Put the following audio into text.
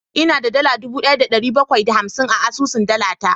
Ina da dala dubu daya da dari bakwai da hamsin a asusun dala ta